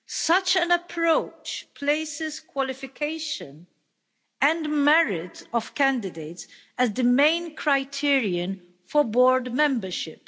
Such an approach places qualification and merit of candidates as the main criterion for board membership.